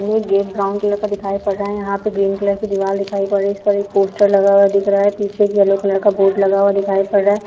ये gate brown colour का दिखाई पड़ रहा है |यहाँ पे ग्रीन कलर की दीवार दिखाई पड़ रही है उस पर एक पोस्टर लगा हुआ दिखाई पड़ रहा है | पीछे येलो कलर का बोर्ड लगा हुआ दिखाई पड़ रहा है।